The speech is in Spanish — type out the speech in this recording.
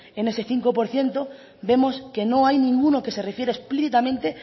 en ese cinco por ciento vemos que no hay ninguno que se refiere explícitamente